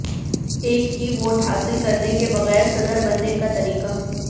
ایک ہی ووٹ حاصل کرنے کے بغیر صدر بننے کا طریقہ